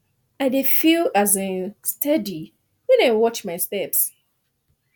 i dey feel um steady when i watch my steps